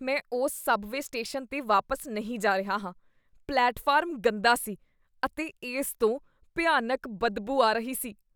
ਮੈਂ ਉਸ subway station 'ਤੇ ਵਾਪਸ ਨਹੀਂ ਜਾ ਰਿਹਾ ਹਾਂ। ਪਲੇਟਫਾਰਮ ਗੰਦਾ ਸੀ ਅਤੇ ਇਸ ਤੋਂ ਭਿਆਨਕ ਬਦਬੂ ਆ ਰਹੀ ਸੀ।